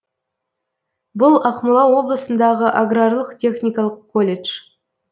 бұл ақмола облысындағы аграрлық техникалық колледж